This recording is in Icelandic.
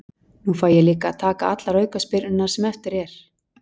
Nú fæ ég líka að taka allar aukaspyrnurnar sem eftir er.